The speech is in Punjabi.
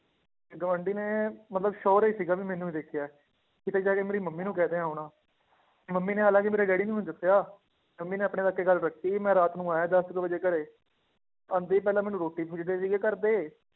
ਤੇ ਗੁਆਂਢੀ ਨੇ ਮਤਲਬ sure ਹੀ ਸੀਗਾ ਵੀ ਮੈਨੂੰ ਹੀ ਦੇਖਿਆ ਹੈ, ਕਿਤੇ ਜਾ ਕੇ ਮੇਰੀ ਮੰਮੀ ਨੂੰ ਕਹਿ ਦਿੱਤਾ ਹੋਣਾ ਮੰਮੀ ਨੇ ਹਾਲਾਂਕਿ ਮੇਰੇ ਡੈਡੀ ਨੂੰ ਨੀ ਦੱਸਿਆ, ਮੰਮੀ ਨੇ ਆਪਣੇ ਤੱਕ ਹੀ ਗੱਲ ਰੱਖੀ ਸੀ ਮੈਂ ਰਾਤ ਨੂੰ ਆਇਆ ਦਸ ਕੁ ਵਜੇ ਘਰੇ, ਆਉਂਦੇ ਹੀ ਪਹਿਲਾਂ ਮੈਨੂੰ ਰੋਟੀ ਪੁੱਛਦੇ ਸੀਗੇ ਘਰਦੇ